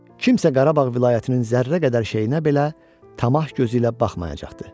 Kimsə Qarabağ vilayətinin zərrə qədər şeyinə belə tamah gözü ilə baxmayacaqdır.